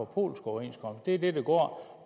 polsk overenskomst det er det det går